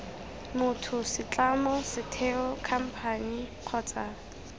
motho setlamo setheo khamphane kgotsa